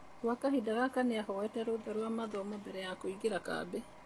Gwa kahinda gaka nĩahoete rũtha rwa mathomo mbere kũingĩra kambĩ.